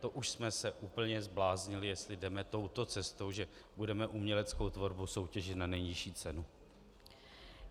To už jsme se úplně zbláznili, jestli jdeme touto cestou, že budeme uměleckou tvorbu soutěžit na nejnižší cenu.